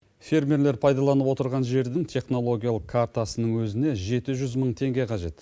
фермерлер пайдаланып отырған жердің технологиялық картасының өзіне жеті жүз мың теңге қажет